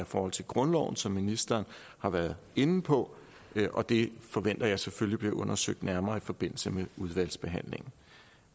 forhold til grundloven som ministeren har været inde på og det forventer jeg selvfølgelig bliver undersøgt nærmere i forbindelse med udvalgsbehandlingen